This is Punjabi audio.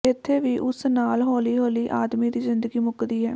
ਇਥੇ ਵੀ ਉਸ ਨਾਲ ਹੌਲੀ ਹੌਲੀ ਆਦਮੀ ਦੀ ਜ਼ਿੰਦਗੀ ਮੁਕਦੀ ਹੈ